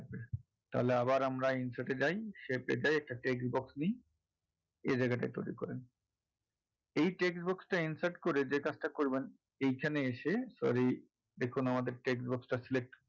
তাহলে আবার আমরা insert এ যাই shaip এ যাই shaip এ গিয়ে একটা x box নেই এ জায়গাটা তৈরি করেন এই text box টা insert করে যেই কাজটা করবেন এখানে এসে sorry এখনও আমাদের text box টা select